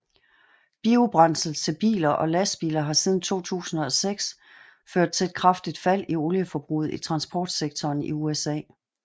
Biobrændsel til biler og lastbiler har siden 2006 ført til et kraftigt fald i olieforbruget i transportsektoren i USA